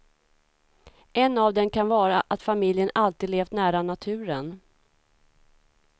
En av dem kan vara att familjen alltid levt nära naturen.